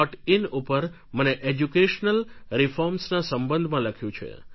in ઉપર મને educational રીફોર્મ્સના સંબંધમાં લખ્યું છે